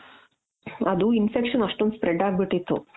ಅದು infection ಅಷ್ಟೊಂದ್ spread ಅಗ್ಬಿಟ್ಟಿತ್ತು.